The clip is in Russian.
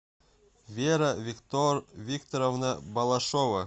вера викторовна балашова